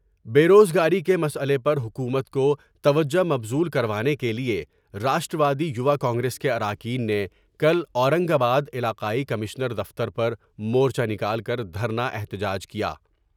بے روز گاری کے مسئلے پر حکومت کو توجہ مبذول کر وانے کے لیے راشٹر وادی یوا کانگریس کے اراکین نے کل اورنگ آباد علاقائی کمشنر دفتر پر مور چہ نکال کر دھر نا احتجاج کیا ۔